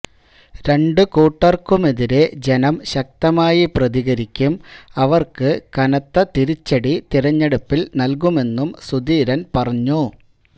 രണ്ടു കൂട്ടർക്കുമെതിരെ ജനം ശക്തമായി പ്രതികരിക്കും അവർക്ക് കനത്ത തിരിച്ചടി തിരഞ്ഞെടുപ്പിൽ നൽകുമെന്നും സുധീരൻ പറഞ്ഞു